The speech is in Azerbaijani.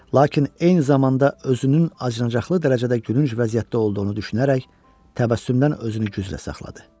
Lakin eyni zamanda özünün acınacaqlı dərəcədə gülünc vəziyyətdə olduğunu düşünərək təbəssümdən özünü güclə saxladı.